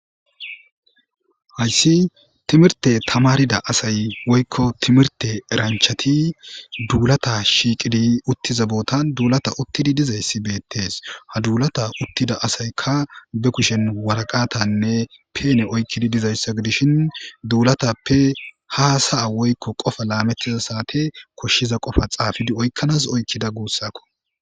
Hayssi timirte tamarida asay woykko timirte eranchati duulata shiiqidi uttiza bootan duulata uttidi dizayssi beettees ha duulata uttida asayka be kushen waraqatanne peene oykkidi dizayssa gidishin duulatappe haasaya woykko qofa laamettiza saate koshshiza qofa xaafidi oykkanas oykkida guussakko.